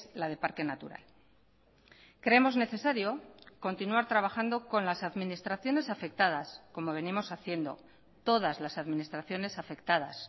la de parque natural creemos necesario continuar trabajando con las administraciones afectadas como venimos haciendo todas las administraciones afectadas